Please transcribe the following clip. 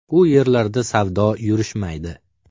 U yerlarda savdo yurishmaydi.